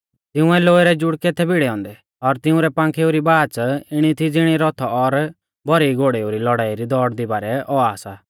तिंउऐ लोहै रै जुड़कै थै भिड़ै औन्दै और तिंउरै पाखेऊ री बाच़ इणी थी ज़िणी रथ और भौरी घोड़ेऊ री लौड़ाई दी दौड़दी बारै औआ सा